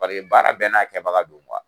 Paseke baara bɛɛ n'a kɛbaga don kuwa.